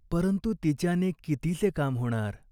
परंतु तिच्याने कितीसे काम होणार ?